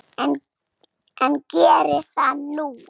En geri það nú.